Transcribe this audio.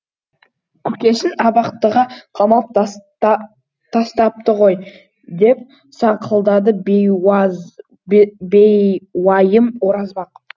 көкесін абақтыға қамап тастапты ғой деп саңқылдады бейуайым оразбақ